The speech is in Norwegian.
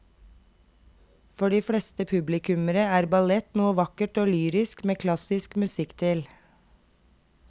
For de fleste publikummere er ballett noe vakkert og lyrisk med klassisk musikk til.